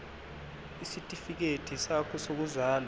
isitifikedi sakho sokuzalwa